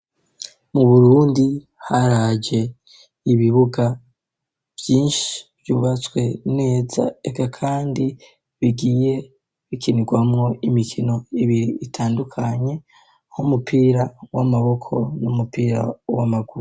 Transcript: Mu burundi haraje ibibuga vyinshi vyubatse neza reka kandi bigiye bikinirwamwo imikino ibiri itandukanye nk'umupira w'amaboko n'umupira w'amaguru.